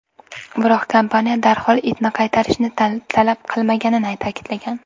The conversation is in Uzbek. Biroq kompaniya darhol itni qaytarishni talab qilmaganini ta’kidlagan.